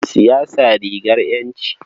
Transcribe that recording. Siyasa rigar ƴanci.